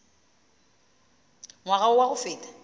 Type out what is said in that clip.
ngwaga wo wa go feta